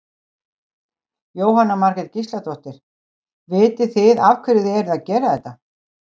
Jóhanna Margrét Gísladóttir: Vitið þið af hverju þið eruð að gera þetta?